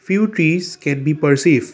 few trees can be perceived.